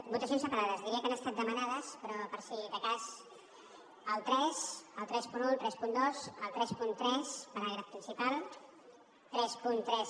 votacions separades diria que han estat demanades però per si de cas el tres el trenta un el trenta dos el trenta tres paràgraf principal trenta tres